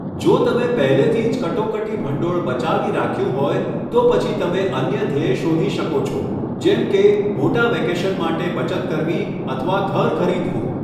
જો તમે પહેલેથી જ કટોકટી ભંડોળ બચાવી રાખ્યું હોય, તો પછી તમે અન્ય ધ્યેય શોધી શકો છો, જેમ કે મોટા વેકેશન માટે બચત કરવી અથવા ઘર ખરીદવું.